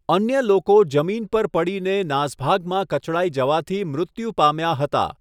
અન્ય લોકો જમીન પર પડીને નાસભાગમાં કચડાઈ જવાથી મૃત્યુ પામ્યા હતા.